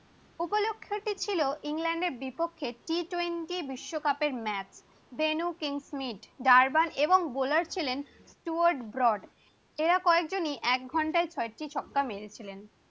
T twenty বিশ্বকাপে ইংল্যান্ডের বিপক্ষে একটি ম্যাচ ডেনু কিংস্মিথ, জার্ভান এবং বোলার ছিলেন স্টুয়ার্ড বর্ড, এরা কয়েকজন ই এক ঘন্টায় ছয় টি ছক্কা মেরে ছিলেন